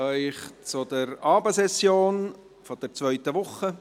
Ich begrüsse Sie zur Abendsession der zweiten Woche.